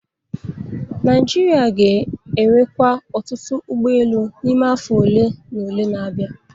Naijiria ga-enwekwa ọtụtụ ụgbọ elu n'ime afọ ole na ole na-abịa